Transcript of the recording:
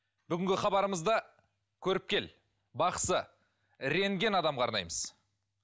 бүгінгі хабарымызды көріпкел бақсы рентген адамға арнаймыз